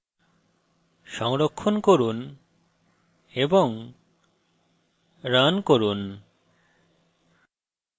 সংরক্ষণ করে run run